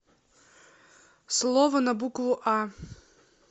слово на букву а